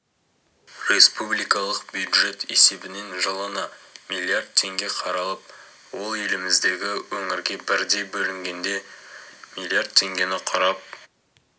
республикалық бюджет есебінен жылына миллиард теңге қаралып ол еліміздегі өңірге бірдей бөлінгенде миллиард теңгені құрап